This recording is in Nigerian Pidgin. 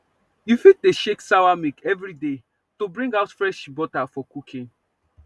you fit dey shake sawa milk every day to bring out fresh butter for cooking